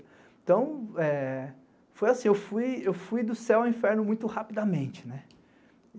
Então, foi assim, eu fui do céu ao inferno muito rapidamente.